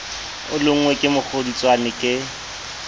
o lonngwe ke mokgodutswane ke